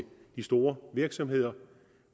de store virksomheder